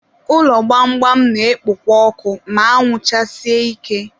ụlọ gbamgbam na-ekpo ọkụ ma anwụ chasie ike.